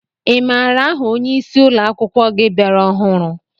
I maara aha ónyé ịsị ụlọakwụkwọ gị bịara ọhụrụ?